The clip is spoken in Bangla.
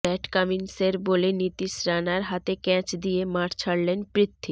প্যাট কামিন্সের বলে নীতিশ রানার হাতে ক্যাচ দিয়ে মাঠ ছাড়লেন পৃথ্বী